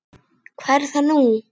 Hvað er það nú?